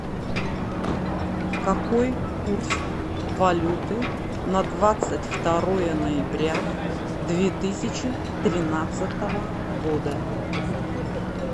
какой курс валюты на двадцать второе ноября две тысячи тринадцатого года